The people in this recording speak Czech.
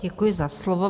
Děkuji za slovo.